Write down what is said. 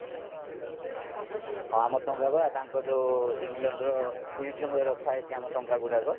ହଁ ଆମ ଟଙ୍କାବା ତାଙ୍କ ଯୋଉ englandର mizuame ରେ ରଖାଯାଇଛି ଆମ ଟଙ୍କା ଗୁଡାକ